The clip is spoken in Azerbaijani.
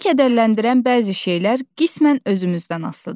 Bizi kədərləndirən bəzi şeylər qismən özümüzdən asılıdır.